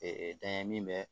Ee dɛngɛn min bɛ